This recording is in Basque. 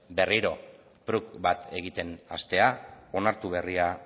berriro prug bat egiten hastea onartu berria